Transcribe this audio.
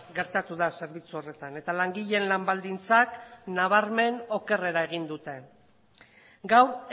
gertatu da zerbitzu horretan eta langileen lan baldintzak nabarmen okerrera egin dute gaur